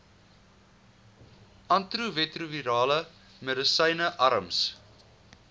antiretrovirale medisyne arms